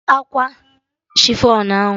Gote akwa chifọn ahụ!